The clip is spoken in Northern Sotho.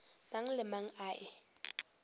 mang le mang a e